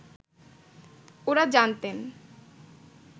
ওঁরা জানতেন